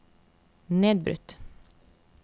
nedbrutt